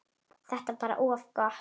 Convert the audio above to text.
Þetta er bara of gott!